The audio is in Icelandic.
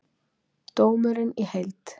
Dómurinn í heild